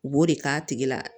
U b'o de k'a tigi la